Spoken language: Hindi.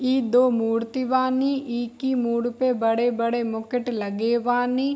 ई दो मूर्ति बानी ई की मुड़ पे बड़े-बड़े मुकुट लगे बानी।